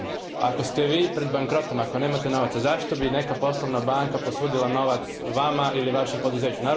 Međutim, ako ste vi pred bankrotom, ako nemate novaca, zašto bi neka poslovna banka posudila novac vama ili vašem poduzeću.